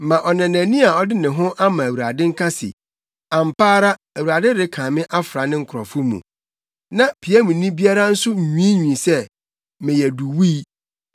Mma ɔnanani a ɔde ne ho ama Awurade nka se, “Ampa ara Awurade renkan me mfra ne nkurɔfo mu.” Na piamni biara nso nwiinwii sɛ, “Meyɛ duwui.”